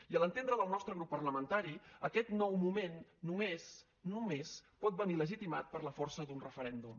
i a l’entendre del nostre grup parlamentari aquest nou moment només només pot venir legitimat per la força d’un referèndum